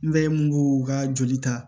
N bɛ mun u ka joli ta